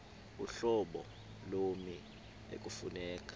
uhlobo lommi ekufuneka